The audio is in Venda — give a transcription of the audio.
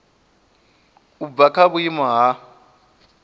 u bva kha vhuimo ha